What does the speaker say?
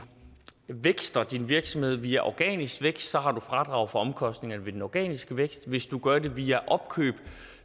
vækster din virksomhed via organisk vækst så har du fradrag for omkostningerne ved den organiske vækst men hvis du gør det via opkøb